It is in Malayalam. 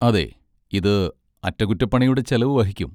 അതെ, ഇത് അറ്റകുറ്റപ്പണിയുടെ ചെലവ് വഹിക്കും.